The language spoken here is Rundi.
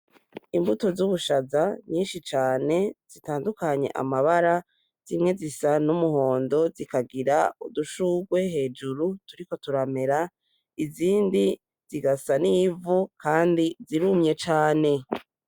Imbuto z'ubushaza nyinshi cane zitandukanye amabara zimwe zisa n'umuhondo zikagira udushurwe hejuru turiko turamera, izindi zigasa n'ivu kandi zirumye cane.